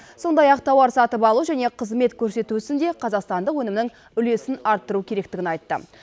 сондай ақ тауар сатып алу және қызмет көрсету ісінде қазақстандық өнімнің үлесін арттыру керектігін айтты